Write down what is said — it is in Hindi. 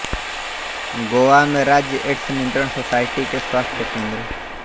गोवा में राज्य एड्स नियंत्रण सोसाइटी के स्वास्थ्य केंद्र